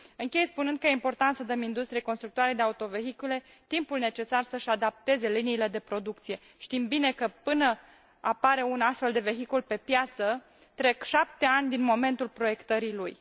Închei spunând că este important să dăm industriei constructoare de autovehicule timpul necesar să își adapteze liniile de producție știm bine că, până apare un astfel de vehicul pe piață, trec 7 ani din momentul proiectării lui.